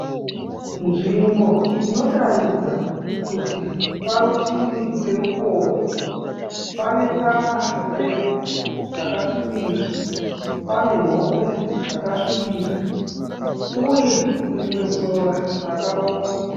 Nzvimbo inotaridza kuti parutivi perukova. Pane tsanga refu dzakasvibira. Pane nhokwe dzakasvibira uye rimwe sora rakaoma.